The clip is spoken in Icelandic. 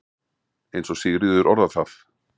eins og Sigríður orðar það.